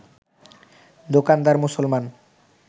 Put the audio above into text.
দোকানদার মুসলমান